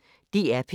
DR P1